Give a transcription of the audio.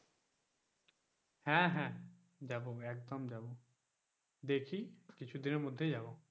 হ্যাঁ হ্যাঁ যাবো একদম যাবো দেখি কিছুদিনের মধ্যেই যাব,